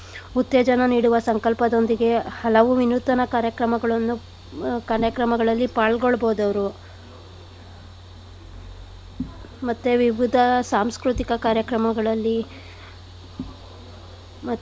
ಉತ್ತೇಜನ ನೀಡುವ ಸಂಕಲ್ಪದೊಂದಿಗೆ ಹಲವು ವಿನೂತನ ಕಾರ್ಯಕ್ರಮಗಳನ್ನು ಕಾರ್ಯಕ್ರಮಗಳಲ್ಲಿ ಪಾಲ್ಗೊಳ್ಬೋದವ್ರು . ಮತ್ತೆ ವಿವಿಧ ಸಾಂಸ್ಕೃತಿಕ ಕಾರ್ಯಕ್ರಮಗಳಲ್ಲಿ ಮತ್ತೆ.